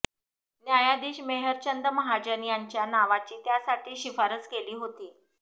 न्यायाधीश मेहर चंद महाजन यांच्या नावाची त्यासाठी शिफारस केली होती